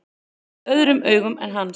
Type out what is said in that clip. Með öðrum augum en hans.